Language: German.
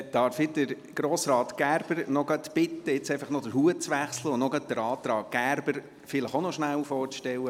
Darf ich Grossrat Gerber bitten, jetzt noch den Hut zu wechseln und den Antrag Gerber auch noch kurz vorzustellen?